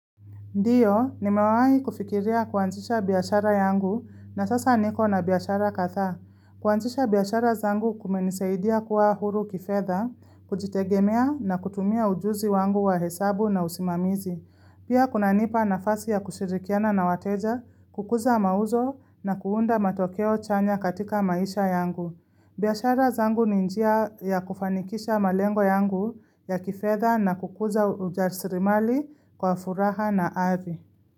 Ndio, nimawahi kufikiria kuanzisha biashara yangu na sasa niko na biashara kadhaa. Kuanzisha biashara zangu kumenisaidia kuwa huru kifedha, kujitegemea na kutumia ujuzi wangu wa hesabu na usimamizi. Pia kunanipa nafasi ya kushirikiana na wateja, kukuza mauzo na kuunda matokeo chanya katika maisha yangu. Biashara zangu ni njia ya kufanikisha malengo yangu ya kifedha na kukuza rasilimali kwa furaha na hadhi.